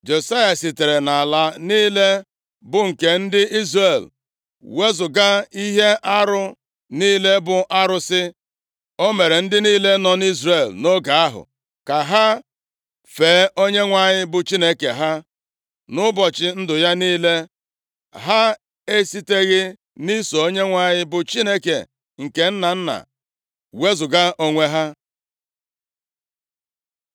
Josaya sitere nʼala niile bụ nke ndị Izrel wezuga ihe arụ niile bụ arụsị, o mere ndị niile nọ nʼIzrel nʼoge ahụ ka ha fee Onyenwe anyị bụ Chineke ha. Nʼụbọchị ndụ ya niile, ha esiteghị nʼiso Onyenwe anyị, bụ Chineke nke nna nna wezuga onwe ha.